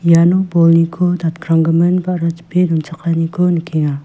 iano bolniko datkranggimin ba·ra chipe donchakaniko nikenga.